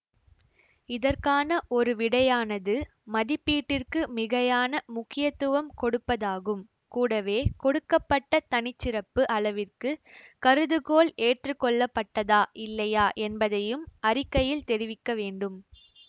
இதற்கான ஒரு விடையானது மதிப்பீட்டிற்கு மிகையான முக்கியத்துவம் கொடுப்பதாகும் கூடவே கொடுக்க பட்ட தனி சிறப்பு அளவிற்கு கருதுகோள் ஏற்றுக்கொள்ளப்பட்டதா இல்லையா என்பதையும் அறிக்கையில் தெரிவிக்க வேண்டும்